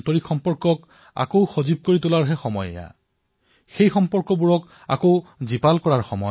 এই সময়ছোৱাত আমি আমাৰ পুৰণি সামাজিক সম্বন্ধসমূহ নতুন কৰিব পাৰো